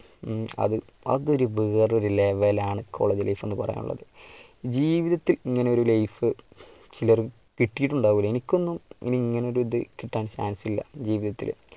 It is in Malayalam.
മമ് അത് അതൊരു വേറെ ഒരു level ആണ്. college life എന്ന് പറയാൻ ഉള്ളത്. ജീവിതത്തിൽ ഇങ്ങനെ ഒരു life ചിലർക്ക് കിട്ടിയിട്ടുണ്ടാവില്ല. എനിക്കും ഇനി ഇങ്ങനെ ഒരു ഇത് കിട്ടാൻ chance ഇല്ല ജീവിതത്തിൽ.